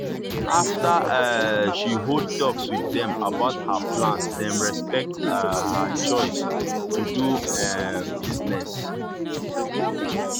after um she hold talks with them about her plans dem respect um her choice to do um business.